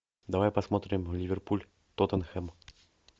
давай посмотрим ливерпуль тоттенхэм